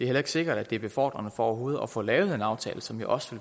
heller ikke sikkert at det er befordrende for overhovedet at få lavet en aftale som jo også